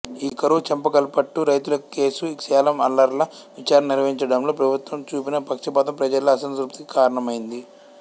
ఈ కరువు చెంగల్పట్టు రైతుల కేసు సేలం అల్లర్ల విచారణను నిర్వహించడంలో ప్రభుత్వం చూపిన పక్షపాతం ప్రజల్లో అసంతృప్తికి కారణమైంది